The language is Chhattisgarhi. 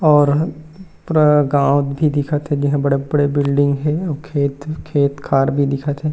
और ह पूरा गांव भी दिखत हे जेह बड़े-बड़े बिल्डिंग हे अउ खेत हे खेत-खार भी दिखत हे।